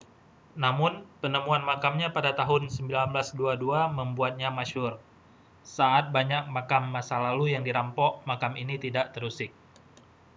namun penemuan makamnya pada tahun 1922 membuatnya masyhur saat banyak makam masa lalu yang dirampok makam ini tidak terusik